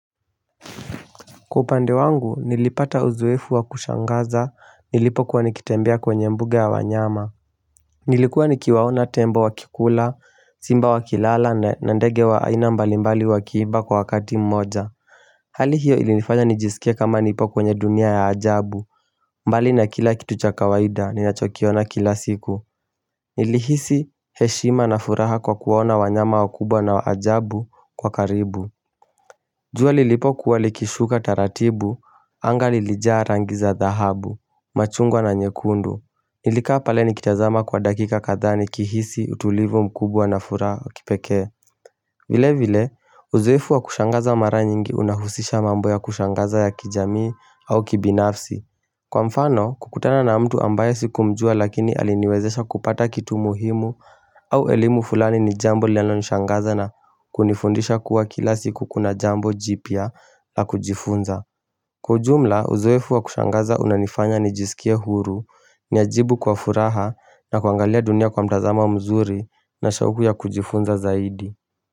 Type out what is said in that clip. Kwa upande wangu nilipata uzoefu wa kushangaza nilipo kuwa nikitembea kwenye mbuga ya wanyama Nilikuwa nikiwaona tembo wakikula, simba wakilala na ndege wa aina mbali mbali wakiimba kwa wakati mmoja Hali hiyo ilinifanya nijisikie kama nipo kwenye dunia ya ajabu mbali na kila kitucha kawaida ni nachokiona kila siku Nilihisi heshima na furaha kwa kuwaona wanyama wakubwa na wa ajabu kwa karibu jua lilipo kuwalikishuka taratibu, angali lijaa rangiza dhahabu, machungwa na nyekundu Nilikaa pale nikitazama kwa dakika katdhaa nikihisi utulivu mkubwa na furaha ya kipekee vile vile, uzoefu wa kushangaza mara nyingi unahusisha mambo ya kushangaza ya kijamii au kibinafsi Kwa mfano, kukutana na mtu ambaye siku mjua lakini aliniwezesha kupata kitu muhimu au elimu fulani ni jambo linalonishangaza na kunifundisha kuwa kila siku kuna jambo jipya la kujifunza. Kwa ujumla, uzoefu wa kushangaza unanifanya nijisikie huru ni ajibu kwa furaha na kuangalia dunia kwa mtazama mzuri na shauku ya kujifunza zaidi.